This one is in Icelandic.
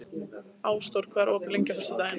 Ásdór, hvað er opið lengi á föstudaginn?